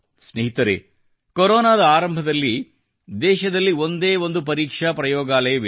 ಸ್ನೇಹಿತರೆ ಕೊರೊನಾದ ಆರಂಭದಲ್ಲಿ ದೇಶದಲ್ಲಿ ಒಂದೇ ಪರೀಕ್ಷಾ ಪ್ರಯೋಗಾಲಯವಿತ್ತು